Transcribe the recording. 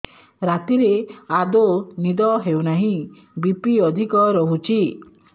ରାତିରେ ଆଦୌ ନିଦ ହେଉ ନାହିଁ ବି.ପି ଅଧିକ ରହୁଛି